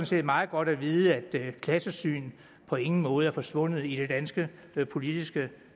set meget godt at vide at klassesynet på ingen måde er forsvundet i det danske politiske